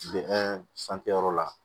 yɔrɔ la